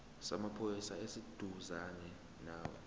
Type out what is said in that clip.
samaphoyisa esiseduzane nawe